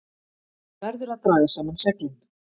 Verður að draga saman seglin